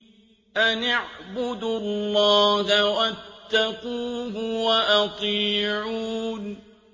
أَنِ اعْبُدُوا اللَّهَ وَاتَّقُوهُ وَأَطِيعُونِ